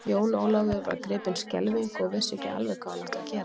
Jón Ólafur var gripinn skelfingu og vissi ekki alveg hvað hann átti að gera.